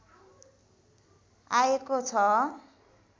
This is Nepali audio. आएको छ